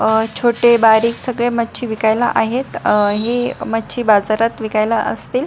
अह छोटे बारीक सगळे मच्छी विकायला आहेत अ हे मच्छी बाजारात विकायला असतील.